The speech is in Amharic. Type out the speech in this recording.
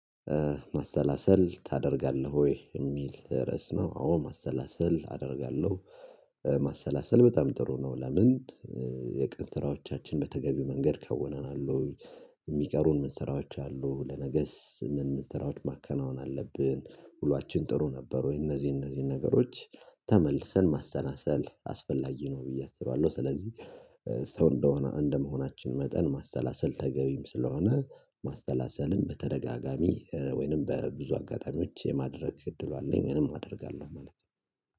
ማሰላሰል ታደርጋለህ ወይ የሚል ድረስ ነው? አዎ ማሰላሰል አደርጋለሁ ማሰላሰል በጣም ጥሩ ነው። ለምን የቀን ስራዎቻችን በተገቢ መንገድ ከወነናል ወይ? የሚቀሩን መሰራዎች አሉ። ለነገስ ምን መሰራዎች ማከናወን አለብን? ሁላችን ጥሩ ነበር ወይ? እነዚህ እነዚህ ነገሮች ተመልሰን ማሰናሰል አስፈላጊ ነው ብዬ አስባለሁ። ስለዚህ ሰው እንደሆነ እንደመሆናችን መጠን ማሰላሰል ተገቢም ስለሆነ ማሰላሰልን በተደጋጋሚ ወይንም በብዙ አጋጣሚዎች የማድረግ እድሉ አለኝ። ምንም አደርጋለሁ ማለት ነው